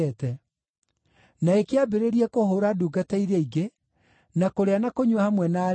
na ĩkĩambĩrĩrie kũhũũra ndungata iria ingĩ, na kũrĩa na kũnyua hamwe na arĩĩu.